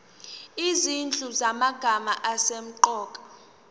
izinhlu zamagama asemqoka